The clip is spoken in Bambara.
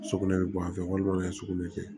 Sugunɛ bɛ bɔ a fɛ walima dɔ de ye sugunɛ kɛ